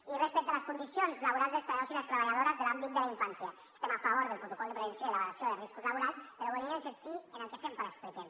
i respecte a les condicions laborals dels treballadors i les treballadores de l’àmbit de la infància estem a favor del protocol de prevenció i de la valoració de riscos laborals però volíem insistir en el que sempre expliquem